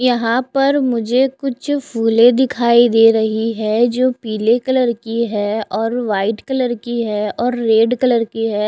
यहाँ पर मुझे कुछ फुले दिखाई दे रही है जो पीले कलर की है और वाइट कलर की है और रेड कलर की है।